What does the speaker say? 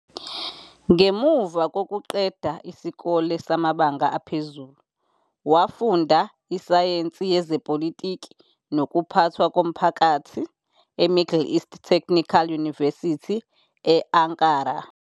Ngemuva kokuqeda isikole samabanga aphezulu, wafunda isayensi yezepolitiki nokuphathwa komphakathi eMiddle East Technical University e- Ankara.